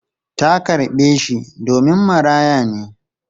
Ta karɓe shi domin maraya ne.